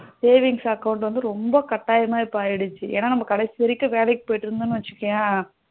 savings account வந்து ரொம்ப கட்டயாம இப்போ ஆகிடுச்சு ஏன்னா நம்ம கடைசி வரைக்கும் வேலைக்கு போயிட்டு இருந்தோம்னா வச்சிகோயா